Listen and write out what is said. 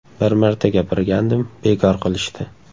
Bir marta gapirgandim, bekor qilishdi.